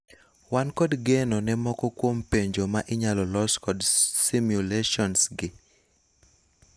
Wan kod geno ne moko kwom penjo ma inyalo los kod simulations gi.